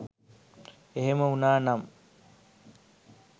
එහෙම වුණානම්